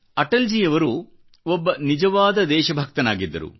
ಅಟಲ್ಜಿಯವರು ಒಬ್ಬ ನಿಜವಾದ ದೇಶ ಭಕ್ತನಾಗಿದ್ದರು